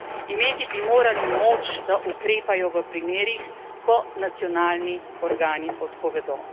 Imeti bi morali moč, da ukrepajo v primerih, ko nacionalni organi odpovedo.